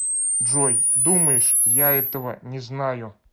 джой думаешь я этого не знаю